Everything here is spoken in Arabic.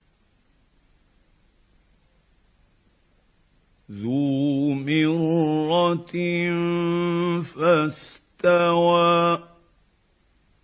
ذُو مِرَّةٍ فَاسْتَوَىٰ